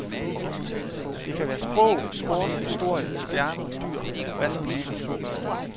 Det kan være sprog, sport, historie, stjerner, dyr, hvad som helst.